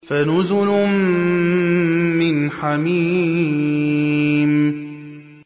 فَنُزُلٌ مِّنْ حَمِيمٍ